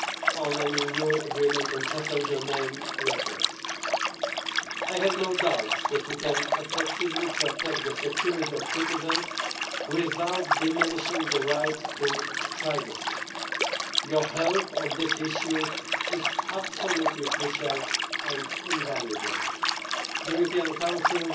on an EU agreement on passenger name records. I have no doubt that we can effectively protect the security of citizens without diminishing the right to privacy. Your help on this issue is absolutely crucial and invaluable. The European